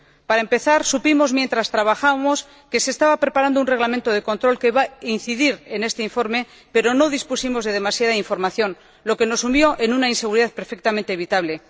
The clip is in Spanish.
Para empezar, supimos, mientras trabajábamos, que se estaba preparando un reglamento de control que iba a incidir en este informe, pero no dispusimos de demasiada información, lo que nos sumió en una inseguridad perfectamente evitable.